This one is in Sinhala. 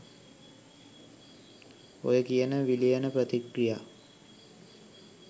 ඔය කියන විලයන ප්‍රතික්‍රියා